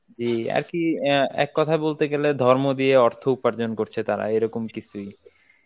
যে আর কি অ্যাঁ এক কথায় বলতে গেলে ধর্ম দিয়ে অর্থ উপার্জন করছে তারা, এরকম কিছুই.